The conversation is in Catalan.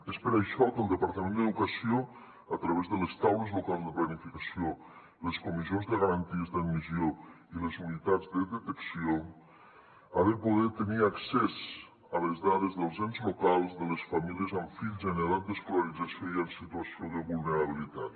és per això que el departament d’educació a través de les taules locals de planificació les comissions de garanties d’admissió i les unitats de detecció ha de poder tenir accés a les dades dels ens locals de les famílies amb fills en edat d’escolarització i en situació de vulnerabilitat